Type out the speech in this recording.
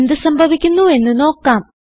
എന്ത് സംഭവിക്കുന്നുവെന്ന് നോക്കാം